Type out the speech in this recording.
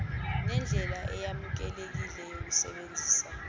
nendlela eyamukelekile yokusebenzisa